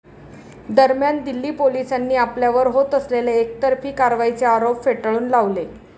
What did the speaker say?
दरम्यान, दिल्ली पोलिसांनी आपल्यावर होत असलेले एकतर्फी कारवाईचे आरोप फेटाळून लावले.